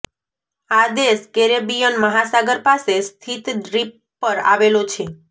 આ દેશ કેરેબિયન મહાસાગર પાસે સ્થિત દ્વીપ પર આવેલો છે